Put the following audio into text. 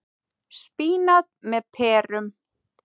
Spínat með perum